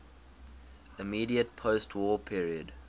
immediate postwar period